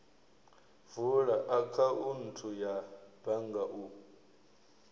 vula akhaunthu ya bannga u